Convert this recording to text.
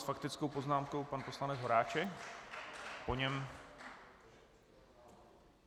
S faktickou poznámkou pan poslanec Horáček, po něm...